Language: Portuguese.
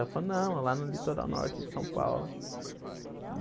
Ela falou, não, é lá no litoral norte de São Paulo.